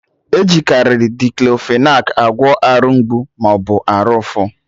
Ejikari Diclofenac agwọ Arụ mgbu maọbụ arụ ụfụ